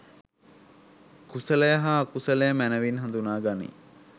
කුසලය හා අකුසලය මැනවින් හඳුනා ගනී.